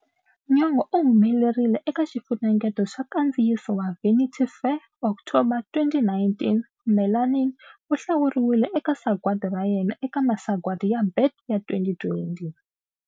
Nyong'o u humelerile eka xifunengeto xa nkandziyiso wa "Vanity Fair" s October 2019."Melanin" u hlawuriwile eka Sagwadi ra Yena eka Masagwadi ya BET ya 2020.